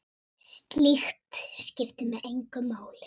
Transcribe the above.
Slíkt skiptir mig engu máli.